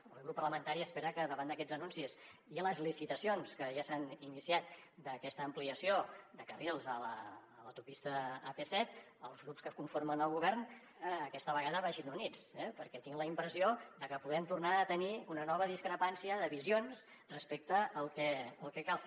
el meu grup parlamentari espera que davant d’aquests anuncis i les licitacions que ja s’han iniciat d’aquesta ampliació de carrils a l’autopista ap set els grups que conformen el govern aquesta vegada vagin units eh perquè tinc la impressió de que podem tornar a tenir una nova discrepància de visions respecte al que cal fer